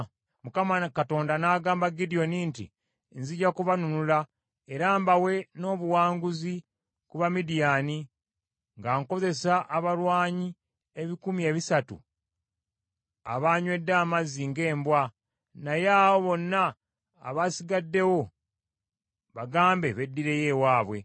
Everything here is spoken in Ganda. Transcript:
Mukama Katonda n’agamba Gidyoni nti, “Nzija kubanunula era mbawe n’obuwanguzi ku ba Midiyaani nga nkozesa abalwanyi ebikumi ebisatu abaanywedde amazzi ng’embwa, naye abo bonna abasigaddewo bagambe beddireyo ewaabwe.”